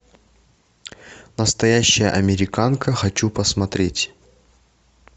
настоящая американка хочу посмотреть